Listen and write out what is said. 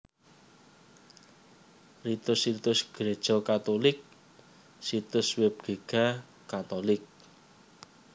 Ritus Ritus Gréja Katulik Situs Web Giga catholic